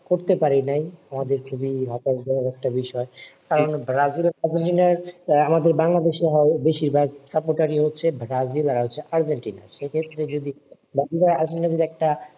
করতে পারি নাই আমাদের খুবি হতাস জনক একটা বিষয় ব্রাজিলের আমাদের বাংলাদেশে হওয়া বেশির ভাগ support রি হচ্ছে ব্রাজিল আর আর্জেন্টিনা সেক্ষেত্রে যদি ব্রাজিল আর্জেন্টিনা যদি একটা